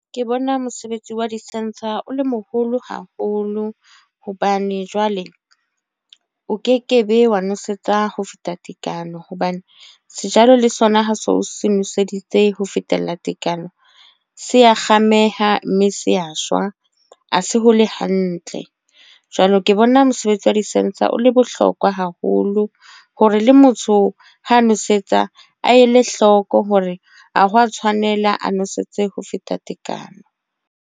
Ke bona mosebetsi wa di-sensor o le moholo haholo. Hobane jwale o ke ke be wa nosetsa ho feta tekano. Hobane sejalo le sona ha se o se nweseditse ho fetela tekano, se ya kgameha mme se a shwa. Ha se hole hantle. Jwalo ke bona mosebetsi wa di-sensor o le bohlokwa haholo. Hore le motho ha nwesetsa a e le hloko hore a hwa tshwanela a nwesetse ho feta tekano.